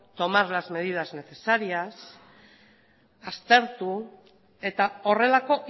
tomas las medidas necesarias aztertu eta horrelako